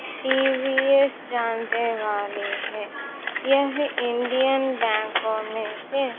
TVS जानते वाली है यह इंडियन बैंकों में से--